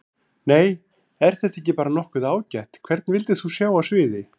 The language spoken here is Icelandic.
Nei er þetta ekki bara nokkuð ágætt Hvern vildir þú sjá á sviði?